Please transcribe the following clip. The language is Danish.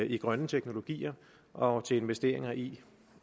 i grønne teknologier og investeringer i